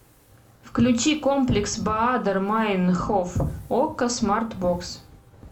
включи комплекс баадер майнхоф окко смарт бокс